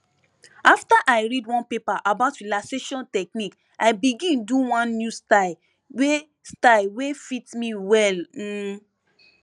after i read one paper about relaxation technique i begin do one new style wey style wey fit me well um